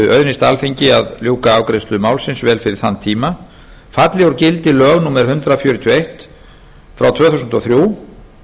auðnist alþingi að ljúka afgreiðslu málsins vel fyrir þann tíma falli úr gildi lög númer hundrað fjörutíu og eitt tvö þúsund og þrjú en þau haldi þó